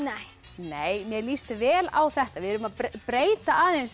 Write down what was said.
nei mér líst vel á þetta við erum að breyta aðeins